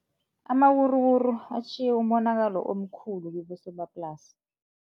Amawuruwuru atjhiye umonakalo omkhulu kibosomaplasi.